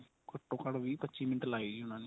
ਘੱਟੋ ਘੱਟ ਵੀਹ ਪੱਚੀ ਮਿੰਟ ਲਾਏ ਜੀ ਉਨ੍ਹਾਂ ਨੇ